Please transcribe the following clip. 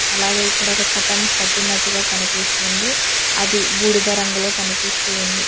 అలాగే ఇక్కడ ఒక కర్టెన్ కట్టినట్టుగా కనిపిస్తుంది అది బూడిద రంగులో కనిపిస్తుంది.